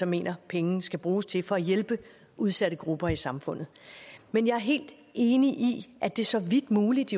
mener pengene skal bruges til for at hjælpe udsatte grupper i samfundet men jeg er helt enig i at det så vidt muligt